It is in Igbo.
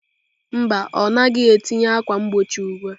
Mba, ọ naghị etinye ákwà mgbochi ugbu a.